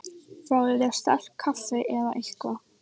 Fáðu þér sterkt kaffi eða eitthvað.